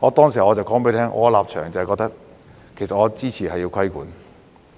何，我便說我的立場其實是支持實施規管。